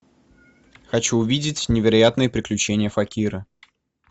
хочу увидеть невероятные приключения факира